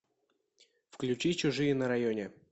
включи чужие на районе